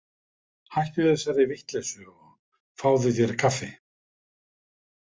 Hættu þessari vitleysu og fáðu þér kaffi.